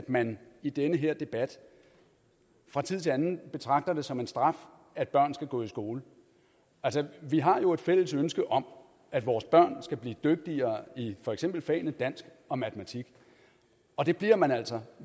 man i den her debat fra tid til anden betragter det som en straf at børn skal gå i skole vi har jo et fælles ønske om at vores børn skal blive dygtigere i for eksempel fagene dansk og matematik og det bliver man altså